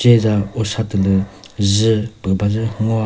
cheza usa tü lü dzü za püh bazü ngoa.